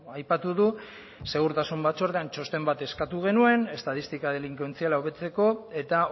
aipatu du segurtasun batzordean txosten bat eskatu genuen estatistika delinkuentziala hobetzeko eta